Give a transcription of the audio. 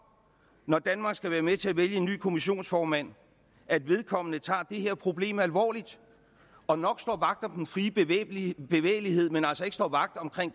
når danmark skal være med til at vælge en ny kommissionsformand at vedkommende tager det her problem alvorligt og nok står vagt om den fri bevægelighed bevægelighed men altså ikke står vagt om kan